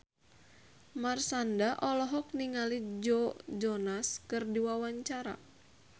Marshanda olohok ningali Joe Jonas keur diwawancara